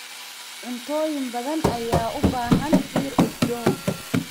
Cuntooyin badan ayaa u baahan dhir udgoon.